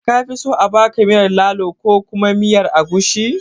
Kafi so a baka miyar lalo ko kuma miyar agushi?